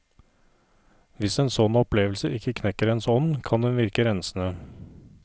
Hvis en sånn opplevelse ikke knekker ens ånd, kan den virke rensende.